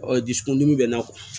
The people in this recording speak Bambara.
dusukun dimi bɛ n na